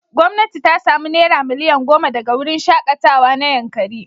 Gwamnati ta sami naira miliyan goma daga wurin shaƙatawa na Yankari.